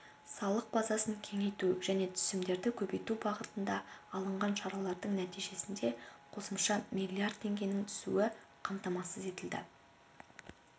салық базасын кеңейту және түсімдерді көбейту бағытында алынған шаралардың нәтижесінде қосымша миллиард теңгенің түсуі қамтамасыз етілді